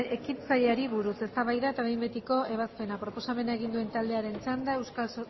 ekintzaileari buruz eztabaida eta behin betiko ebazpena proposamena egin duen taldearen txanda